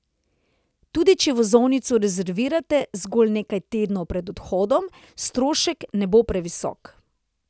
Tudi če vozovnico rezervirate zgolj nekaj tednov pred odhodom, strošek ne bo previsok.